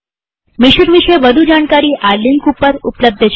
mission વિષે વધુ જાણકારી આ લિંક ઉપર ઉપલબ્ધ છે